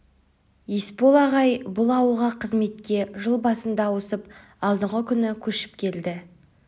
есбол ағай бұл ауылға қызметке жыл басында ауысып алдыңғы күні көшіп келді